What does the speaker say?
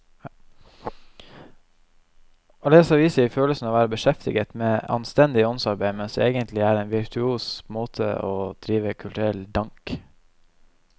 Å lese aviser gir følelsen av å være beskjeftiget med anstendig åndsarbeid, mens det egentlig er en virtuos måte å drive kulturell dank.